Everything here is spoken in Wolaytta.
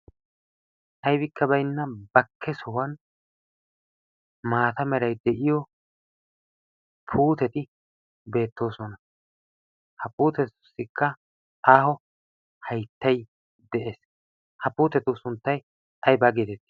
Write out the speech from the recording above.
Aybikka baynna bakke sohuwan maata meray de'iyo puuteti beettoosona. Ha puutetussikka aaho hayttay de'ees. Ha puutetu sunttay aybaa geetettii?